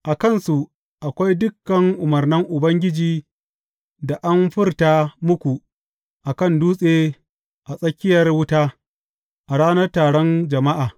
A kansu akwai dukan umarnan Ubangiji da an furta muku a kan dutse a tsakiyar wuta, a ranar taron jama’a.